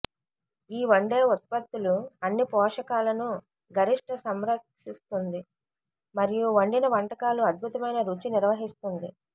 ఈ వండే ఉత్పత్తులు అన్ని పోషకాలను గరిష్ట సంరక్షిస్తుంది మరియు వండిన వంటకాలు అద్భుతమైన రుచి నిర్వహిస్తుంది